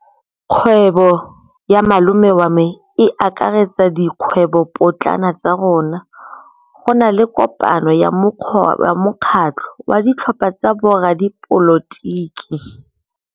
Kgwêbô ya malome wa me e akaretsa dikgwêbôpotlana tsa rona. Go na le kopanô ya mokgatlhô wa ditlhopha tsa boradipolotiki.